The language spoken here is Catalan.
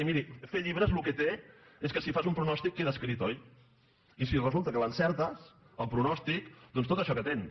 i miri fer llibres el que té és que si fas un pronòstic queda escrit oi i si resulta que l’encertes el pronòstic doncs tot això que tens